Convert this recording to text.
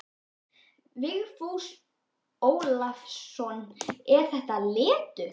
Vigfús Ólafsson: Er þetta letur?